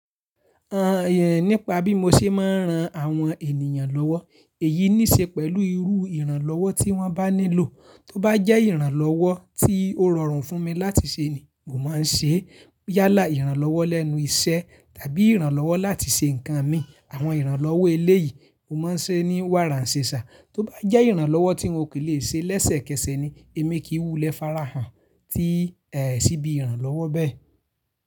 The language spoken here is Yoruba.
Àá, nípa bí mo ṣe máa ń ran àwọn ènìyàn lọ́wọ́, èyí níṣe pẹ̀lú irú ìrànlọ́wọ́ tí wọ́n bá nílò. Tó bá jẹ́ ìrànlọ́wọ́ tí ó rọrùn fún mi láti ṣe ni, mo máa ń ṣe. Yálà ìrànlọ́wọ́ lẹ́nu iṣẹ́ tàbí ìrànlọ́wọ́ láti ṣe nǹkan mi, àwọn ìrànlọ́wọ́ eléyìí mo máa ń ṣe ní wàrà ṣẹ̀ṣà. Tó bá jẹ́ ìrànlọ́wọ́ tí n ò kí lè ṣe lẹ́sẹ̀kẹsẹ̀ ni, èmi kì wú lẹ́ fàràhàn tí. Sì bí ìrànlọ́wọ́ bẹ́ẹ̀.